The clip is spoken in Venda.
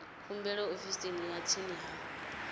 khumbelo ofisini ya tsini ya